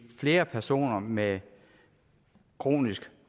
flere personer med kronisk